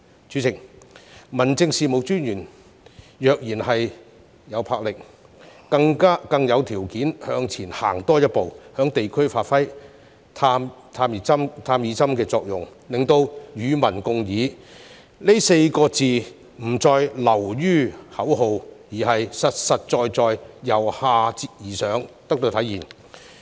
主席，民政事務專員若然有魄力，更有條件向前多走一步，在地區發揮"探熱針"的作用，令"與民共議"這4個字不再流於口號，而是實實在在由下而上得到體現。